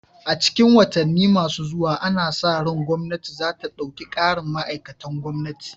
A cikin watanni masu zuwa ana sa ran gwamnati za ta ɗauki ƙarin ma'aikatan gwamnati